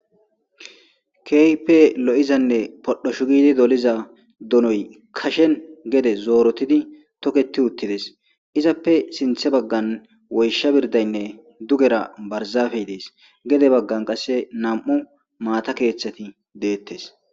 Keype lo'izanne podho shugidi doliza donoy kashen gede zoorotidi toketi uttides izappe sinthe baggan woysha birdaynne dugera barzaafey dees gede baggan qasse nam'u maata keeththati deettes.